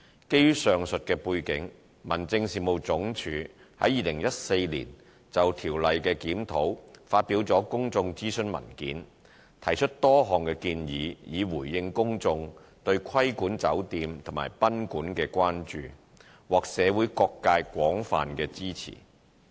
基於上述背景，民政事務總署於2014年就《條例》的檢討發表了公眾諮詢文件，提出多項建議以回應公眾對規管酒店及賓館的關注，獲社會各界廣泛支持。